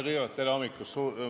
Kõigepealt: tere hommikust!